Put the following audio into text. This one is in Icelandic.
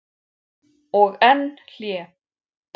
Og enn hlé.